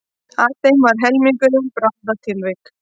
Af þeim var helmingurinn bráðatilvik